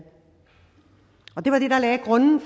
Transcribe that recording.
og det var det der lagde grunden